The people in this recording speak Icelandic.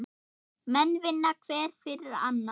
Menn vinna hver fyrir annan.